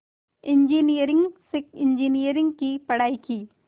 engineering से engineering की पढ़ाई की